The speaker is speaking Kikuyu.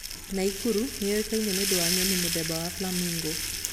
Naikuru yũĩkaine nĩũndũ wa nyoni mũthemba wa flamingo